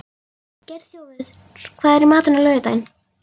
Geirþjófur, hvað er í matinn á laugardaginn?